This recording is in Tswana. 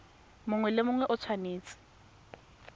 mongwe le mongwe o tshwanetse